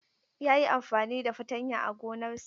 Ya yi amfani da fatanya a gonarsa.